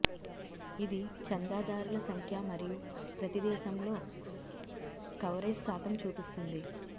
ఇది చందాదారుల సంఖ్య మరియు ప్రతి దేశంలో కవరేజ్ శాతం చూపిస్తుంది